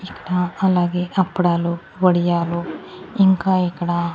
ఇకడా అలాగే అప్పడాలు వడియాలు ఇంకా ఇక్కడ--